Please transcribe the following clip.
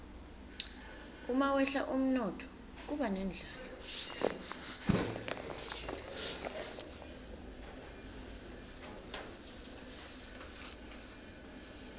umawehla umnotfo kuba nendlala